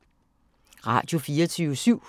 Radio24syv